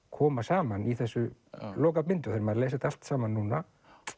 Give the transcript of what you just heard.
koma saman í þessu þegar maður les þetta allt saman núna